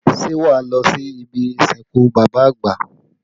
Ṣé wá lọ sí ibi ìsìnkú bàbá àgbà?